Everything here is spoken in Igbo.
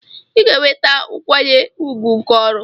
Ị ga-enweta nkwanye ùgwù nke ọrụ.